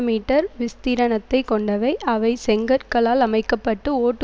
metre விஸ்தீரணத்தைக் கொண்டவை அவை செங்கற்களால் அமைக்க பட்டு ஓட்டு